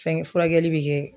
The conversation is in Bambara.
Fɛngɛ furakɛli bi kɛ